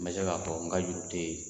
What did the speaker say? N bɛ se k'a fɔ n ka juru tɛ yen